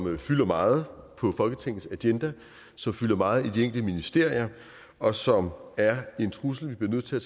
fylder meget på folketingets agenda som fylder meget i de enkelte ministerier og som er en trussel vi bliver nødt til at